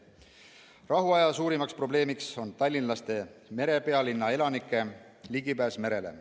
Rahuaja suurimaks probleemiks on tallinlaste, merepealinna elanike ligipääs merele.